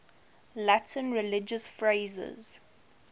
latin religious phrases